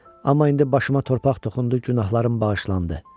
Amma indi başıma torpaq toxundu, günahlarım bağışlandı.